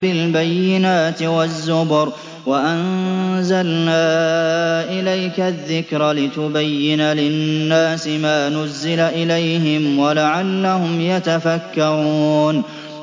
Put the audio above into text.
بِالْبَيِّنَاتِ وَالزُّبُرِ ۗ وَأَنزَلْنَا إِلَيْكَ الذِّكْرَ لِتُبَيِّنَ لِلنَّاسِ مَا نُزِّلَ إِلَيْهِمْ وَلَعَلَّهُمْ يَتَفَكَّرُونَ